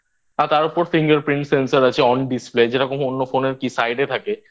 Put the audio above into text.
আর তার উপর Fingerprint Sensor আছে On Display যেরকম অন্য Phone এর কি Side এ থাকে